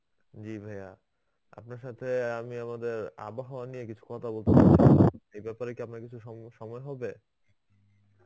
জি ভায়া. আপনার সাথে আমি আমাদের আবহওয়া নিয়ে কিছু কথা বলতে চাইছিলাম এই ব্যাপারে কি আপনার কিছু সম~ সময় হবে?